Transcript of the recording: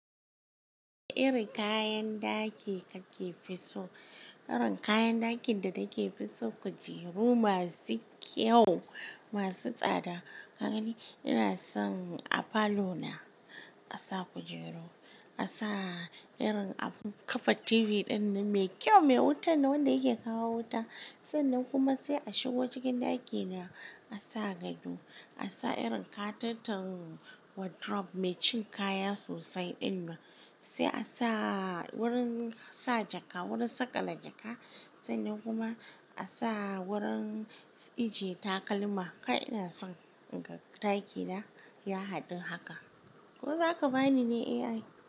Irin kayan daki kake fi so? Irin kayan dakin da nake fi so kujeru masu kyau, masu tsada. Ka gani ina son a falo na a sa kujeru, a sa irin abun kafa TV ɗin mai kyau, mai wuta nan wanda yake kawo wuta. Sannan kuma sai a shigo cikin ɗaki na a sa gado, a sa irin katoton wardrobe mai cin kaya sosai ɗin nan. Sai a sa wurin sa jaka, wurin saƙala jaka. Sannan kuma a sa wurin ije takalma. Kai ina son inga ɗaki na ya haɗu haka. Ko zaka bani ne AI?